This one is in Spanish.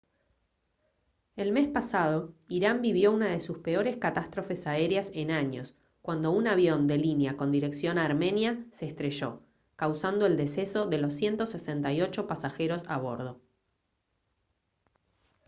el mes pasado irán vivió una de sus peores catástrofes aéreas en años cuando un avión de línea con dirección a armenia se estrelló causando el deceso de los 168 pasajeros a bordo